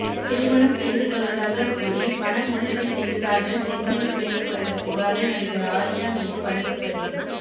திருமணம் செய்து கொள்வதாக கூறி பண மோசடி செய்ததாக ஜெர்மனி பெண் கொடுத்த புகாரில் நடிகர் ஆர்யா மீது வழக்குப்பதிவு